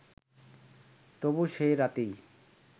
তবু সেই রাতেই